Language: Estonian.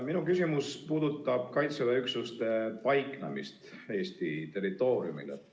Minu küsimus puudutab Kaitseväe üksuste paiknemist Eesti territooriumil.